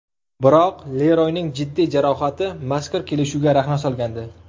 Biroq Leroyning jiddiy jarohati mazkur kelishuvga raxna solgandi.